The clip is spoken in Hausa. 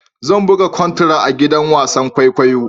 Zan buga contra a gidan wasan kwaikwayo.